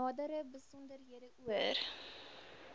nadere besonderhede oor